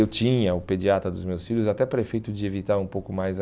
Eu tinha o pediatra dos meus filhos, até para efeito de evitar um pouco mais a...